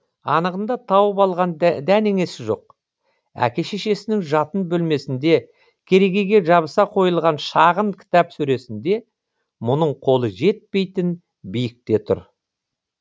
анығында тауып алған дәнеңесі жоқ әке шешесінің жатын бөлмесінде керегеге жабыса қойылған шағын кітап сөресінде мұның қолы жетпейтін биікте тұр